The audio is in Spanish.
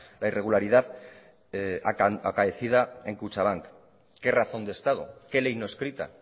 la irregularidad acaecida en kutxabank qué razón de estado qué ley no escrita